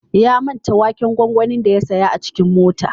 Ya manta waken gwagwanin da ya saya a cikin mota.